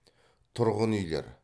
тұрғын үйлер